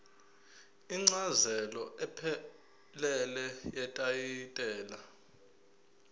incazelo ephelele yetayitela